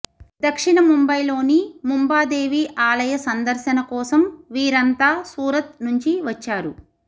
దక్షిణ ముంబైలోని ముంబా దేవి ఆలయ సందర్శన కోసం వీరంతా సూరత్ నుంచి వచ్చారు